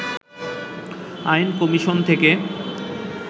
আইন কমিশন থেকে